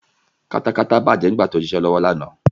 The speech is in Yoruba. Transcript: Katakata bàjẹ́ nígbà tí mo ń ṣiṣẹ́ lọ́wọ́ lánàá.